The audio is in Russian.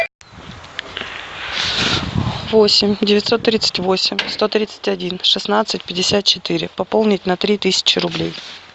восемь девятьсот тридцать восемь сто тридцать один шестнадцать пятьдесят четыре пополнить на три тысячи рублей